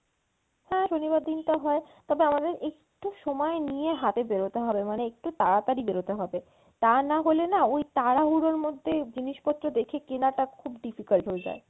হ্যাঁ শনিবার দিনটা হয় তবে আমাদের একটু সময় নিয়ে হাতে বেরোতে হবে মানে একটু তাড়াতাড়ি বেরোতে হবে তা না হলে না ওই তাড়াহুড়োর মধ্যে জিনিসপত্র দেখে কেনাটা খুব difficult হয়ে যায়।